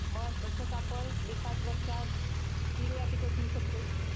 मग तसंच आपण एखाद्या वर्षात तीन वेळा पिकं घेऊ शकतो.